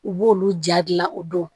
U b'olu ja dilan o dɔn